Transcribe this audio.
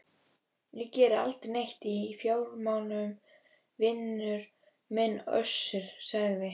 Ég geri aldrei neitt í fjármálum vinur minn Össur, sagði